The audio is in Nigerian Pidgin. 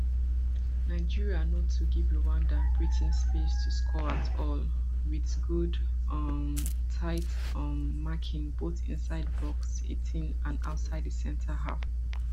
nigeria no too give rwanda breathing space to score at all wit good um tight um marking both inside box eighteen and outside di centre half